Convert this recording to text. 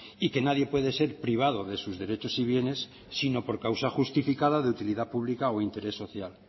y que nadie puede ser privado de sus derechos y bienes sino por causa justificada de utilidad pública o de interés social